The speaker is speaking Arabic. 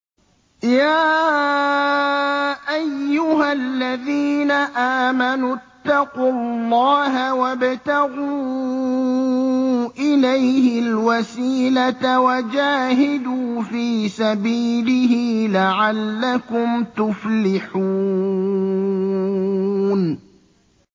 يَا أَيُّهَا الَّذِينَ آمَنُوا اتَّقُوا اللَّهَ وَابْتَغُوا إِلَيْهِ الْوَسِيلَةَ وَجَاهِدُوا فِي سَبِيلِهِ لَعَلَّكُمْ تُفْلِحُونَ